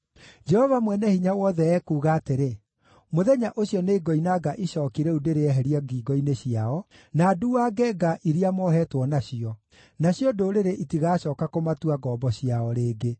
“Jehova Mwene-Hinya-Wothe ekuuga atĩrĩ, ‘Mũthenya ũcio nĩngoinanga icooki rĩu ndĩrĩeherie ngingo-inĩ ciao, na nduuange nga iria mohetwo nacio; nacio ndũrĩrĩ itigacooka kũmatua ngombo ciao rĩngĩ.